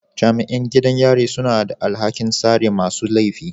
Jami'in gidan yari suna da alhakin tsare masu laifi